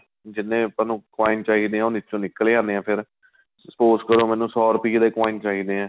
ਜਿੰਨੇ ਆਪਾਂ ਨੂੰ coin ਚਾਹੀਦੇ ਏ ਉਹ ਨੀਚੋ ਨਿੱਕਲੇ ਆਂਦੇ ਫ਼ੇਰ spouse ਕਰੋ ਮੈਨੂੰ ਸੋ ਰੁਪਏ ਦੇ coin ਚਾਹੀਦੇ ਏ